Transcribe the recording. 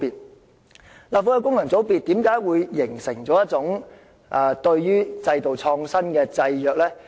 為何立法會的功能界別會形成對制度創新的制約？